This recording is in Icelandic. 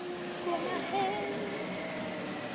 Að koma heim